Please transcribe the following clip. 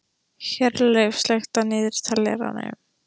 Hjörleif, slökktu á niðurteljaranum.